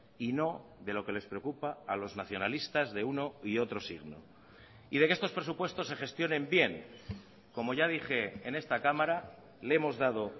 y no de lo que les preocupa a los nacionalistas de uno y otro signo y de que estos presupuestos se gestionen bien como ya dije en esta cámara le hemos dado